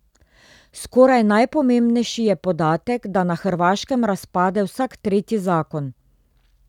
Skoraj najpomembnejši je podatek, da na Hrvaškem razpade vsak tretji zakon.